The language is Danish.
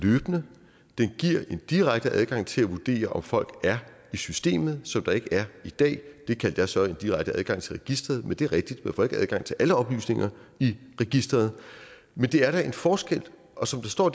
den giver en direkte adgang til at vurdere om folk er i systemet som der ikke er i dag det kaldte jeg så en direkte adgang til registeret det er rigtigt at får adgang til alle oplysninger i registeret men der er da en forskel og som der står